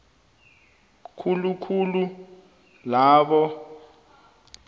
khulu khulu labo